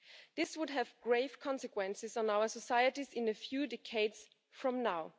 This would have grave consequences on our societies in a few decades from now.